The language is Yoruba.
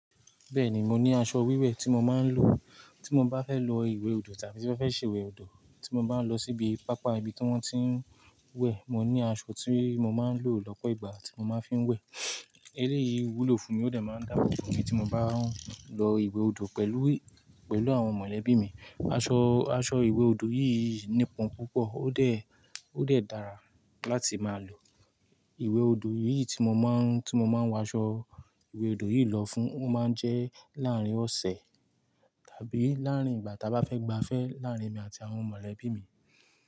Bẹ́ẹ̀ni, mo ní aṣọ wíwẹ̀ tí mo máa ń lò. Tí mo bá fẹ́ lọ ìwé odò tàbí tí mo fẹ́ ṣe ìwé odò, tí mo bá ń lọ síbi pápá ibi tí wón ti ń wẹ̀, mo ní aṣọ tí mo máa ń lò lọ́pọ̀ ìgbà tí mo máa fi ń wẹ̀. Eléyi wúlò fúnmi ó dẹ̀ máa ń dáàbòbò mi tí mo bá ń lọ ìwé odò pẹ̀lú, pẹ̀lú àwọn mọ̀lẹ́bí mi aṣọ, aṣọ ìwé odò yìí nípọn púpọ̀, ó dẹ̀, ó dẹ̀ dára láti máa lò. Ìwé odò yìí tí mo máa ń, tí mo máa ń wọ aṣọ ìwé odò yìí lọ fún, ó máa ń jẹ́ láárín ọ̀sẹ̀ tàbí láàrín ìgbà ta bá fẹ́ gbafẹ́ láárín èmi àti àwọn mọ̀lẹ́bí mi.